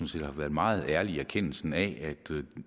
set har været meget ærlige med erkendelsen af at